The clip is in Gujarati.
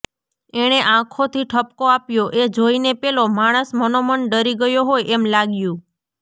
એણે આંખોથી ઠપકો આપ્યો એ જોઈને પેલો માણસ મનોમન ડરી ગયો હોય એમ લાગ્યું